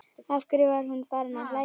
Af hverju var hún farin að hlæja?